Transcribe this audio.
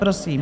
Prosím.